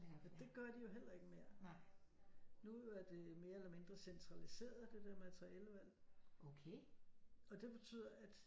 Og det gør de jo heller ikke mere nu er det mere eller mindre centraliseret det der materialevalg og det betyder at